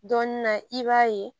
Dɔɔnin na i b'a ye